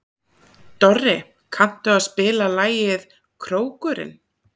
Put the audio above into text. Dorri, kanntu að spila lagið „Krókurinn“?